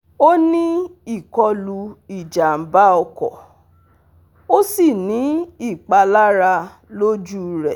O ni ikolu ijamba oko o si ni ipalara loju rẹ